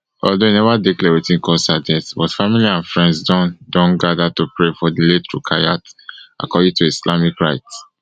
although e never dey clear wetin cause her death but family and friends don don gather to pray for di late rukayat according to islamic rites